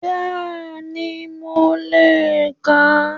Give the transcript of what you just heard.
Béèni mo le è kà á